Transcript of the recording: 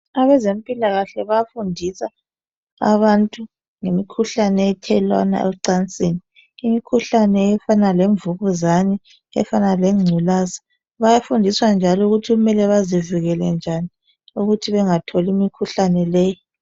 Abezempilakahle bafundisa abantu ngemikhuhlane ethelelwana ocansini , imikhuhlane efana lemvukuzane efana lenculaza. Bayafundisa njalo ukuthi kumele bazivikele njani ukuthi bengatholi imikhuhlane leyi.